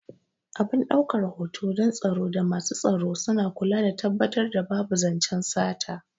Abin ɗaukan hoto don tsaro da masu tsaro suna kula da tabbatar da babu zancen sata